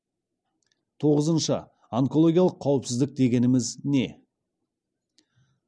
тоғызыншы онкологиялық қауіпсіздік дегеніміз не